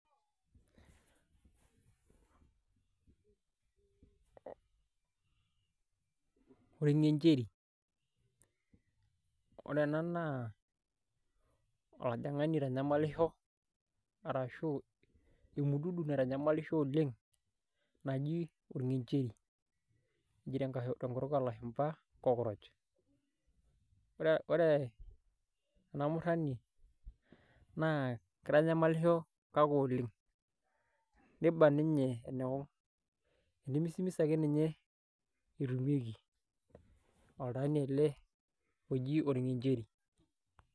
pause orng'encheri ore ena naa olajang'ani oitanyamalisho arashuu emududu naitanyamalisho oleng' naji orng'encheri neji tenkutul oolashumba cockroch ore ena murani naa keitanyamalisho kake oleng' neiba ninye enewang' enemisimis ake ninye etumieki oltaani ele oji orng'encheri.